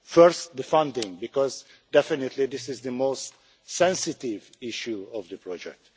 First the funding, because definitely this is the most sensitive issue of the project.